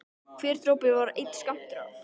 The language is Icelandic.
Hver dropi var einn skammtur af